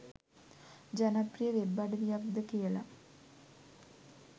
ජනප්‍රිය වෙබ් අඩවියක්ද කියලා.